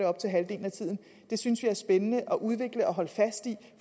op til halvdelen af tiden synes vi er spændende at udvikle og holde fast i